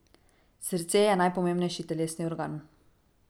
Srce je najpomembnejši telesni organ.